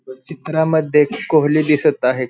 चित्रामध्ये कोहली दिसत आहे.